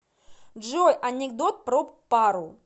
джой анекдот про пару